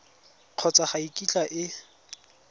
kgotsa ga e kitla e